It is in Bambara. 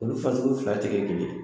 Olu fasugu fila tɛ kɛ kelen ye